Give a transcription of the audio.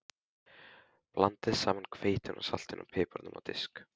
Blandið saman hveitinu, saltinu og piparnum á disk.